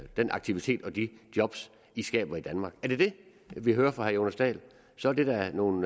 den aktivitet og de job i skaber i danmark er det det vi hører fra herre jonas dahl så er det da nogle